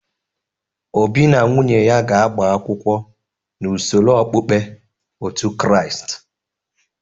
Obi na nwunye ya ga-agba akwụkwọ n'usoro okpukpe otu Kraịst.